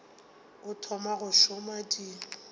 o thoma go šoma di